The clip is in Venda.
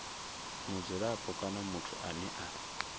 mudzulapo kana muthu ane a